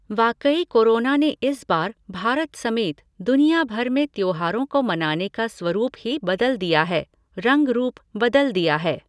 वाकई कोरोना ने इस बार भारत समेत, दुनिया भर में त्योहारों को मनाने का स्वरुप ही बदल दिया है, रंग रूप बदल दिया है।